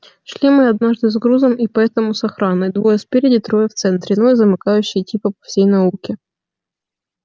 шли мы однажды с грузом и поэтому с охраной двое спереди трое в центре ну и замыкающий типа по всей науке